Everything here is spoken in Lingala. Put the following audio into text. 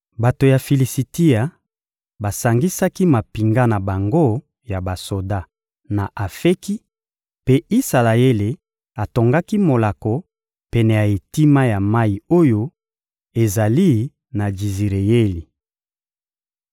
Bato ya Filisitia basangisaki mampinga na bango ya basoda na Afeki, mpe Isalaele atongaki molako pene ya etima ya mayi oyo ezali na Jizireyeli.